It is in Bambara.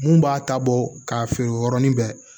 Mun b'a ta bɔ k'a feere o yɔrɔnin bɛɛ